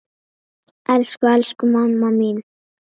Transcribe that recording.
Elsku, elsku mamma mín.